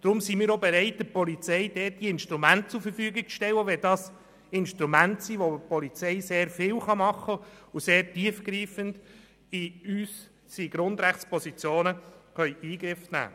Deswegen sind wir auch bereit, der Polizei diese Instrumente zur Verfügung zu stellen, auch wenn dies Instrumente sind, mit denen die Polizei sehr viel tun und sehr tief in unsere Grundrechtspositionen eingreifen kann.